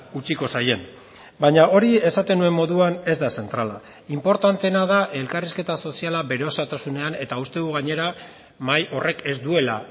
utziko zaien baina hori esaten nuen moduan ez da zentrala inportanteena da elkarrizketa soziala bere osotasunean eta uste dugu gainera mahai horrek ez duela